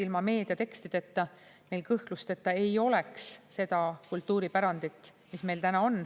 Ilma meedia tekstideta meil kõhklusteta ei oleks seda kultuuripärandit, mis meil täna on.